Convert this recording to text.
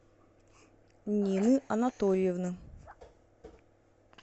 нины анатольевны